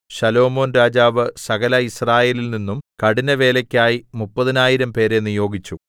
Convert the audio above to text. ശലോമോൻ രാജാവ് സകല യിസ്രായേലിൽനിന്നും കഠിനവേലക്കായി മുപ്പതിനായിരം പേരെ നിയോഗിച്ചു